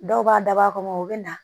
Dɔw b'a dabɔ a kama u bɛ na